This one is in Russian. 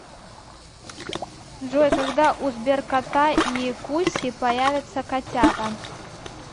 джой когда у сберкота и куси появятся котята